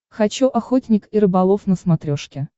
хочу охотник и рыболов на смотрешке